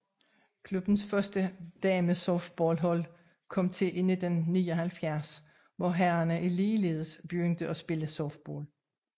Klubbens første damesoftballhold kom til i 1979 hvor herrerne ligeledes begyndte at spille softball